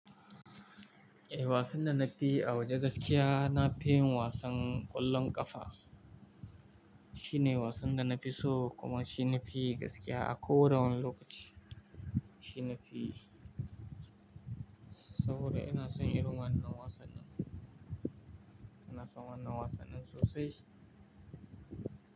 Eh, wasan da na fi a waje gaskiya na fi yin wasan ƙwallon ƙafa. Shine wasan da na fi so kuma shine fi gaskiya a koda wani lokaci. Shine fi saboda ina son irin wannan wasan nan. Ina son wannan wasan nan sosai.